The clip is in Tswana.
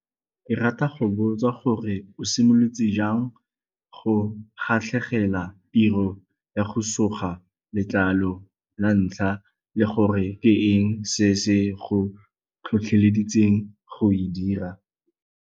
Ke rata go botsa gore o simolotse jang go kgatlhegela tiro ya go suga letlalo la ntlha le gore ke eng se se go tlhotlheleditseng go e dira?